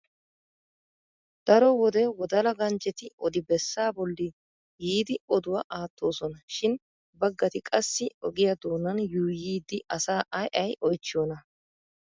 Daro wode wodala ganjetti odi bessaa bolli yiidi oduwa aattoosona. Shin baggati qassi ogiya doonan yuuyyidi asaa ay ay oyichchiyona?